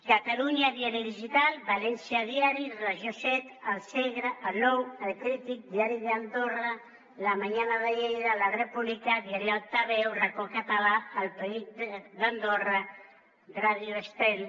catalunya diari digital valència diari regió siete el segre el nou el crític diari d’andorra la mañana de lleida la república diari altaveu racó català el periòdic d’andorra ràdio estel